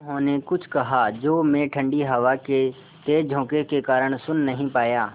उन्होंने कुछ कहा जो मैं ठण्डी हवा के तेज़ झोंके के कारण सुन नहीं पाया